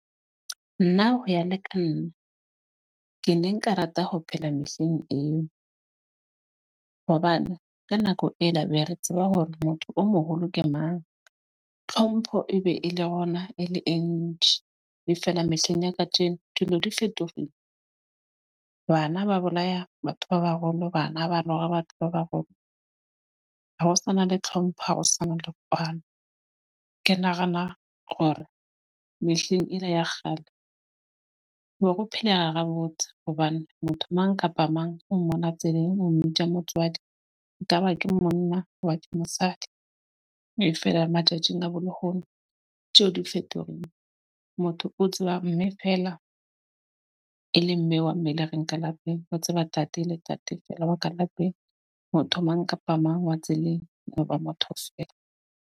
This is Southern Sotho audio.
Nna ho ya le ka nna ke ne nka rata ho phela mehleng eo, hobane ka nako ela be re tseba hore motho o moholo ke mang. Tlhompho e be e le gona e le e ntjhi. E feela mehleng ya kajeno dilo di fetogile. Bana ba bolaya batho ba baholo bana ba batho ba baholo. Ha ho sana le tlhompho ha ho sana le kwano. Ke nagana hore mehleng ele ya kgale ho no go phelega ha botse. Hobane motho mang kapa mang o mmona tseleng, o mmitsa motswadi. Ekaba ke monna ke mosadi e fela matjatjing a bo lehono tjeho di fetogile. Motho o tsebang mme fela e le mme wa mme a leng ka lapeng. O tseba tate le tate feela wa ka lapeng. Motho mang kapa mang wa tseleng .